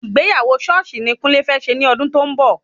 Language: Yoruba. Ìgbéyàwó sọ́ọ̀sì ni kúnlé fẹ́ ṣe ní ọdún tó ń bọ̀